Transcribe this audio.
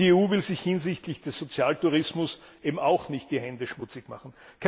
Und die EU will sich hinsichtlich des Sozialtourismus eben auch nicht die Hände schmutzig machen.